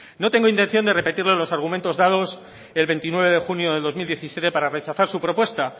no tengo intención de repetirle los argumentos dados el veintinueve de junio de dos mil diecisiete para rechazar su propuesta